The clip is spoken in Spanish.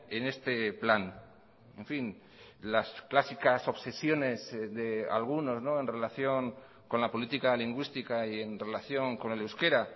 en este plan en fin las clásicas obsesiones de algunos en relación con la política lingüística y en relación con el euskera